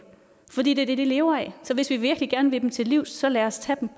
fordi det er det de lever af så hvis vi virkelig gerne vil dem til livs så lad os tage dem